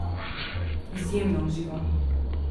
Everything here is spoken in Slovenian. Izjemno uživam.